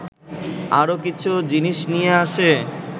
আরও কিছু জিনিস নিয়ে আসে